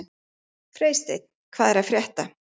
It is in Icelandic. Freysteinn, hvað er að frétta?